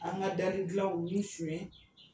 An ka dali gilanw b'i sonyɛn.